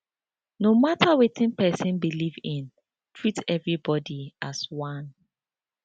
no mata wetin sick pesin believe in treat everybody as one